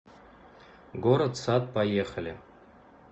город сад поехали